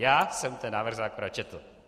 Já jsem ten návrh zákona četl.